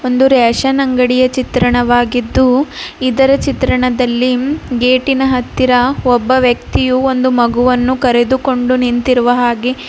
ಒಂದು ರೆಷನ್ ಅಂಗಡಿಯ ಚಿತ್ರಣವಾಗಿದ್ದು ಇದರ ಚಿತ್ರಣದಲ್ಲಿ ಗೇಟಿನ ಹತ್ತಿರ ಒಬ್ಬ ವ್ಯಕ್ತಿಯು ಒಂದು ಮಗುವನ್ನು ಕರೆದುಕೊಂಡು ನಿಂತಿರುವ ಹಾಗೆ--